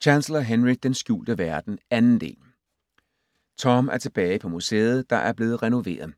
Chancellor, Henry: Den skjulte verden: 2. del Tom er tilbage på museet, der er blevet renoveret.